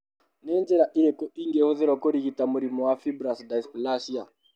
Nĩ njĩra irĩkũ ingĩhũthĩrũo kũrigita mũrimũ wa fibrous dysplasia?